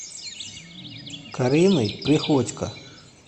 кариной приходько